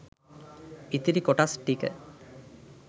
ඉතිරි කොටස් ටික